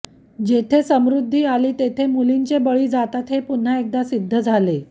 जेथे समृद्धी आली तेथे मुलींचे बळी जातात हे पुन्हा एकदा सिद्ध झाले